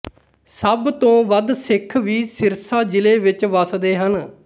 ਸਭ ਤੋਂ ਵੱਧ ਸਿੱਖ ਵੀ ਸਿਰਸਾ ਜਿਲ੍ਹੇ ਵਿੱਚ ਵਸਦੇ ਹਨ